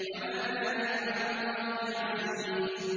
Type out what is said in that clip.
وَمَا ذَٰلِكَ عَلَى اللَّهِ بِعَزِيزٍ